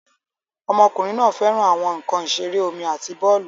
Ọmọkùnrin náà fẹ́ràn àwọn nkan ìṣeré omi àti bọ́ọ̀lù